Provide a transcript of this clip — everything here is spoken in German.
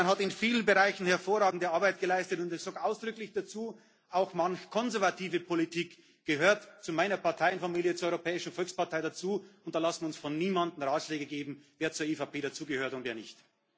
machen. Ungarn hat in vielen Bereichen hervorragende Arbeit geleistet, und ich sage ausdrücklich dazu Auch manch konservative Politik gehört zu meiner Parteienfamilie, zur Europäischen Volkspartei dazu, und da lassen wir uns von niemandem Ratschläge geben, wer zur EVP gehört und wer